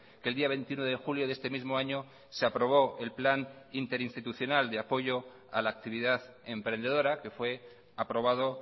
que el día veintiuno de julio de este mismo año se aprobó el plan interinstitucional de apoyo a la actividad emprendedora que fue aprobado